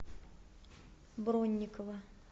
бронникова